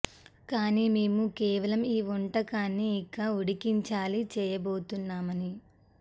కానీ మేము కేవలం ఈ వంటకాన్ని ఇక అది ఉడికించాలి చేయబోతున్నామని